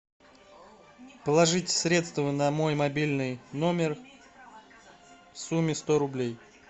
положить средства на мой мобильный номер в сумме сто рублей